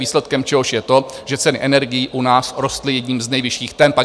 Výsledkem čehož je to, že ceny energií u nás rostly jedním z nejvyšších temp.